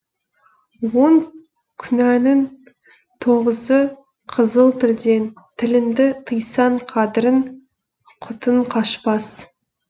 он күнәнің тоғызы қызыл тілден тіліңді тыйсаң қадірің құтың қашпас